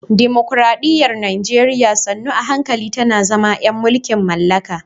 Dimokuradiyyar Najeriya sannu a hankali tana zama ‘yan mulkin mallaka